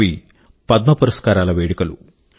అవి పద్మ పురస్కారాల వేడుకలు